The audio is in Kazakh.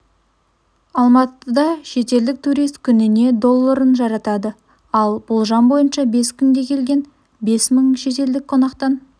алматыда шетелдік турист күніне долларын жаратады ал болжам бойынша бес күнге келген бес мың шетелдік қонақтан